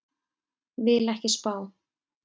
Vil ekki spá.